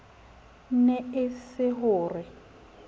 ne e se ho re